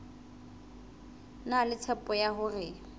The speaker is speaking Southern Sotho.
na le tshepo ya hore